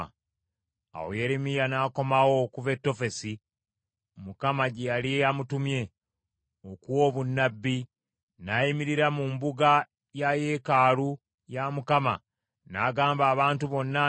Awo Yeremiya n’akomawo okuva e Tofesi Mukama gye yali amutumye okuwa obunnabbi, n’ayimirira mu mbuga ya yeekaalu ya Mukama n’agamba abantu bonna nti,